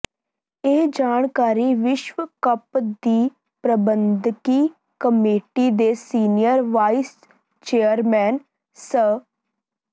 ਇਹ ਜਾਣਕਾਰੀ ਵਿਸ਼ਵ ਕੱਪ ਦੀ ਪ੍ਰਬੰਧਕੀ ਕਮੇਟੀ ਦੇ ਸੀਨੀਅਰ ਵਾਈਸ ਚੇਅਰਮੈਨ ਸ